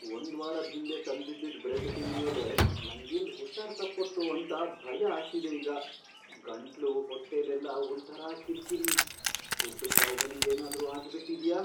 ಒಂದ್ವಾರದ್ ಹಿಂದೆ ತಂದಿದ್ದಿದ್ ಬ್ರೆಡ್ ತಿಂದ್ಮೇಲೆ ನಂಗೆಲ್ಲ್ ಹುಷಾರ್ ತಪ್ಪತ್ತೋ ಅಂತ ಭಯ ಆಗ್ತಿದೆ ಈಗ. ಗಂಟ್ಲು, ಹೊಟ್ಟೆಲೆಲ್ಲ ಒಂಥರಾ ಕಿರ್ಕಿರಿ.. ಫುಡ್ ಪಾಯ್ಸನಿಂಗ್ ಏನಾದ್ರೂ ಆಗ್ಬಿಟಿದ್ಯಾ?